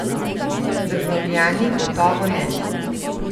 Državljani gotovo ne.